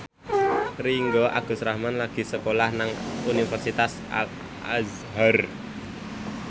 Ringgo Agus Rahman lagi sekolah nang Universitas Al Azhar